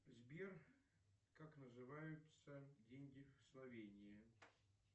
сбер как называются деньги в словении